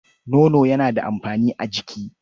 Nono yana da amfani a jiki.